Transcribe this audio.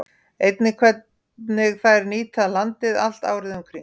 Einnig hvernig þær nýta landið allt árið um kring.